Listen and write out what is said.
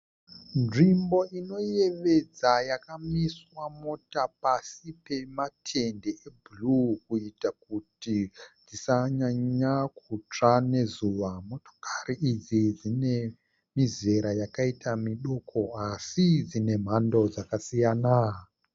Nzvimbo inoyevedza yakamiswa mota pasi pematende ebhuruu kuita kuti dzisanyanya kutsva nezuva. Motokari idzi dzine mizera yakaita miduku asi dzine mhando dzakasiyana.